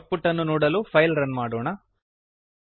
out ಪುಟ್ ಅನ್ನು ನೋಡಲು ಫೈಲನ್ನು ರನ್ ಮಾಡೋಣ